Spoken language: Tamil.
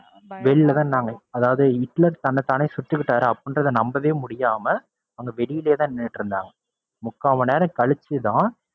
வெளியிலதான் நின்னாங்க. அதாவது ஹிட்லர் தன்னை தானே சுட்டுக்கிட்டாரு அப்படின்றத நம்பவே முடியாம அவங்க வெளியிலேயே தான் நின்னுகிட்டு இருந்தாங்க. முக்கால் மணிநேரம் கழிச்சுத்தான்